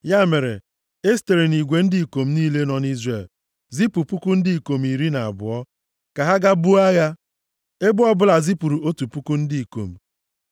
Ya mere, e sitere nʼigwe ndị ikom niile nọ nʼIzrel zipụ puku ndị ikom iri na abụọ, ka ha gaa buo agha. Ebo ọbụla zipụrụ otu puku ndị ikom.